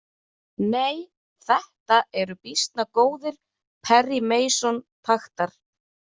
Nei, þetta eru býsna góðir Perry Mason taktar.